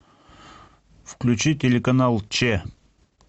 включи телеканал че